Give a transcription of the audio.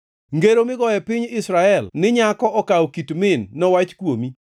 “ ‘Ngero migoyo e piny Israel ni, “Nyako okawo kit min, nowach kuomi.”